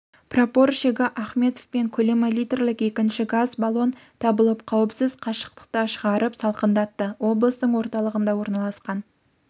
прапорщигі ахметовпен көлемі литрлік екінші газ баллон табылып қауіпсіз қашықтыққа шығарып салқындатты облыстың орталығында орналасқан